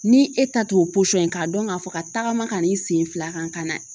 Ni e ta t'o k'a dɔn k'a fɔ ka tagama ka na n sen fila kan ka na